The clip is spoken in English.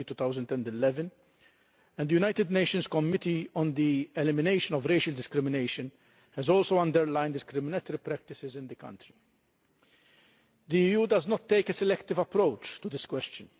2011. The United Nations Committee on the Elimination of Racial Discrimination has also underlined discriminatory practices in that country. The EU does not take a selective approach to this question.